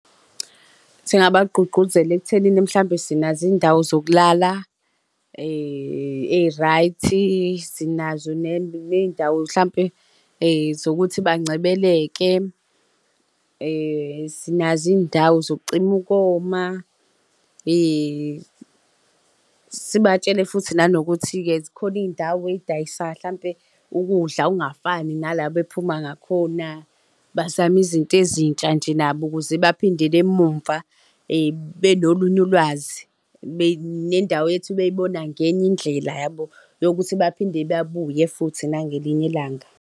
Singabagqugquzela ekuthenini, mhlawumbe sinazo iy'ndawo zokulala ey'-right-i, sinazo ney'ndawo mhlampe zokuthi bancebeleke, sinazo iy'ndawo zokucima ukoma, sibatshele futhi nanokuthi-ke zikhona iy'ndawo ey'dayisayo hlampe ukudla okungafani nala bephuma ngakhona. Bazame izinto ezintsha nje nabo ukuze baphindele emumva benolunye ulwazi nendawo yethu beyibona ngenye indlela yabo? Yokuthi baphinde babuye futhi nangelinye ilanga.